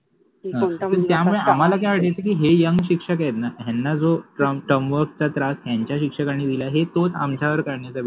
त्यामुळे आम्हाला अस वाटायच कि हे यंग शिक्षक आहेत न ह्याना जो टर्म वर्क चा त्रास यांच्या शिक्षकानि दिला हे तोच आमच्यावर काढन्याचा विचार